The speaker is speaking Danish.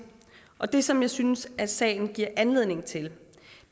og det som jeg synes at sagen giver anledning til